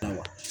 Awɔ